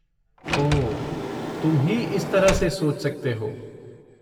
ओह, तुम ही इस तरह से सोच सकते हो!